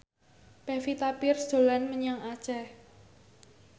Pevita Pearce dolan menyang Aceh